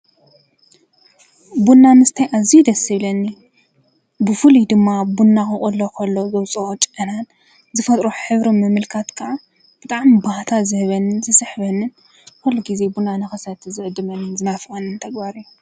ቡና ምስታይ ኣዙይ ደስ ዝብለኒ ብፉልዩ ድማ ቡና ክቅሎ ኾሎ ዘውፅኦ ጨዕናን ዝፈጥሮ ሕብርን ምምልካት ከዓ ብጣም ባህታ ዝህበንን ዝስሕበንን። ኲል ጊዜ ቡና ንኸሰቲ ዝዕድመንን ዝናፍቐንን ተግባር እዩ።